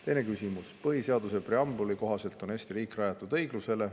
Teine küsimus: "Põhiseaduse preambuli kohaselt on Eesti riik rajatud õiglusele.